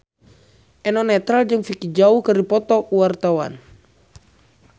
Eno Netral jeung Vicki Zao keur dipoto ku wartawan